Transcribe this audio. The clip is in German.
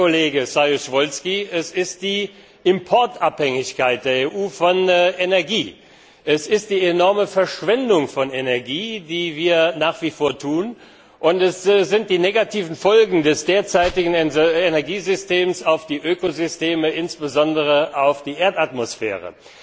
Ja, Kollege Saryusz Wolski, es ist die Abhängigkeit der EU von Energieimporten. Es ist die enorme Verschwendung von Energie, die nach wie vor herrscht, und es sind die negativen Folgen des derzeitigen Energiesystems auf die Ökosysteme, insbesondere auf die Erdatmosphäre.